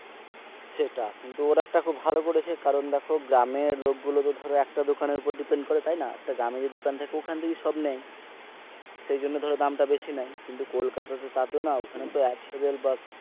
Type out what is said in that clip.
কিন্তু ওরা একটা ভালো করেছে কারণ দেখো গ্রামের লোক গুলো ধরো একটা দোকানের উপর depend করে তাই না একটা গ্রামে দোকান থাকে ওখান থেকে সব নাই সেই জন্য ধরো দামটা বেশি নাই কিন্তু কলকাতা তো তার তো নয়, ওখানে তো,